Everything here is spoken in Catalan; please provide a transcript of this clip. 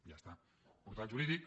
ja està portal jurídic